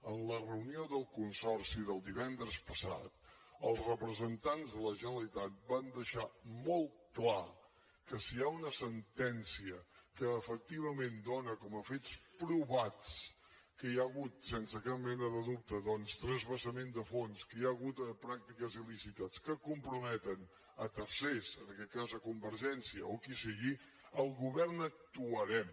en la reunió del consorci del divendres passat els representants de la generalitat van deixar molt clar que si hi ha una sentència que efectivament dona com a fets provatsque hi ha hagut sense cap mena de dubte doncs transvasament de fons que hi ha hagut pràctiques il·lícites que comprometen tercers en aquest cas convergència o qui sigui el govern actuarem